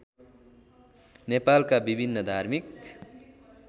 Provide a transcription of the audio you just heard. नेपालका विभिन्न धार्मिक